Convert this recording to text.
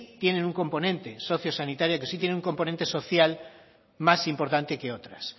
tienen un componente socio sanitario que sí tienen un componente social más importante que otras